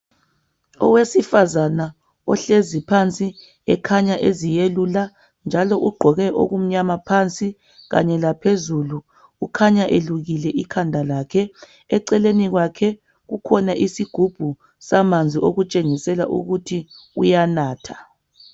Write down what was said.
Owesifazana ohlezi phansi ekhanya eziyelula njalo ugqoke okumnyama phansi kanye laphezulu. Ukhanya elukile ikhanda lakhe. Eceleni kwakhe kukhona isigubhu samanzi okutshengisela ukuthi uyanatha.